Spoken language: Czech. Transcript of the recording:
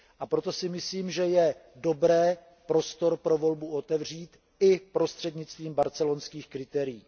A proto si myslím, že je dobré prostor pro volbu otevřít i prostřednictvím barcelonských kritérií.